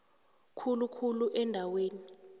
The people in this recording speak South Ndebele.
khulu khulu eendaweni